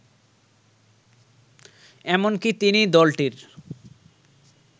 এমনকি তিনি দলটির